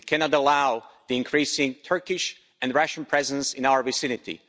We cannot allow the increasing Turkish and Russian presence in our vicinity.